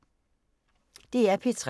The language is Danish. DR P3